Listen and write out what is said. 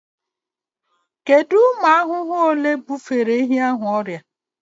Kedu ụmụ ahụhụ ole bufere ehi ahụ ọrịa?